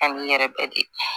A n'i yɛrɛ bɛ di